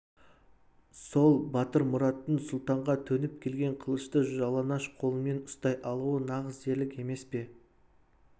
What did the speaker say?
сол батырмұраттың сұлтанға төніп келген қылышты жалаңаш қолымен ұстай алуы нағыз ерлік емес пе